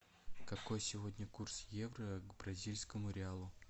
какой сегодня курс евро к бразильскому реалу